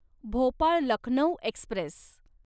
Bhopal Lucknow Express